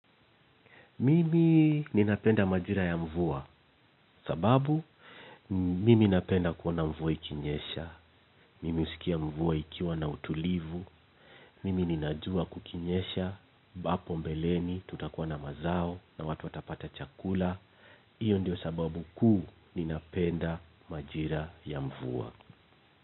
Mimi ninapenda majira ya mvua, sababu mimi ninapenda kuona mvua ikinyesha, mimi nimeskia mvua ikiwa na utulivu, mimi ninajua kukinyesha, hapo mbeleni tutakuwa na mazao na watu watapata chakula, hiyo ndio sababu kuu ninapenda majira ya mvua.